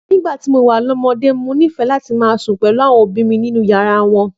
Nígbà tí mo wà lọ́mọdé, mo nífẹ̀ẹ́ sí sùn pẹ̀lú àwọn òbí mi nínú yàrá wọn.